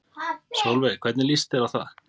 Sólveig: Hvernig líst þér á það?